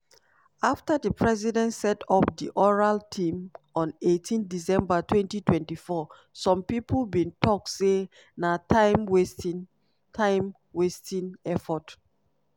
afta di president set up di oral team on 18 december 2024 some pipo bin tok say na time-wasting time-wasting effort.